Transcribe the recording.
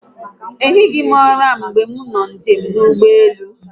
A rahụghi m ụra mgbe m nọ njem n'ụgbọelu